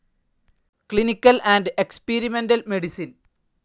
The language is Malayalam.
clinical and experimental medicine